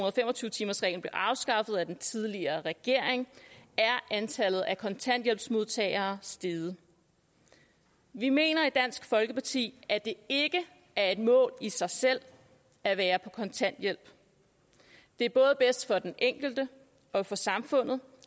og fem og tyve timersreglen blev afskaffet af den tidligere regering er antallet af kontanthjælpsmodtagere steget vi mener ikke i dansk folkeparti at det er et mål i sig selv at være på kontanthjælp det er både bedst for den enkelte og for samfundet